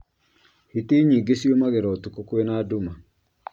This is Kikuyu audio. Hiti nyingĩ ciumagĩra ũtukũ kwĩna nduma